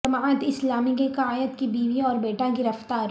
جماعت اسلامی کے قائد کی بیوی اور بیٹا گرفتار